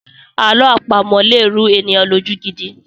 Àlọ́ àpamọ̀ lè rú ènìyàn lójú gidi.